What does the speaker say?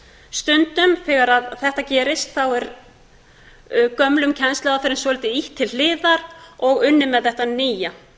stundum þegar þetta gerist er gömlum kennsluaðferðum svolítið ýtt til hliðar og unnið með þetta nýja